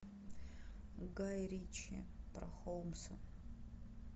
гай ричи про холмса